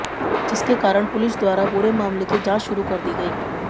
जिसके कारण पुलिस द्वारा पूरे मामले की जांच शुरू कर दी गई